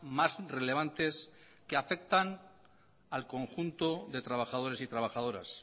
más relevantes que afectan al conjunto de trabajadores y trabajadoras